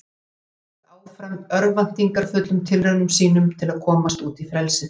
Flugan hélt áfram örvæntingarfullum tilraunum sínum til að komast út í frelsið.